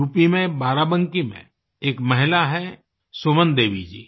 UP में बाराबंकी में एक महिला हैं सुमन देवी जी